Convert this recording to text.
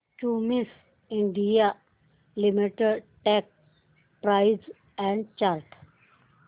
Cummins India limited stock price and chart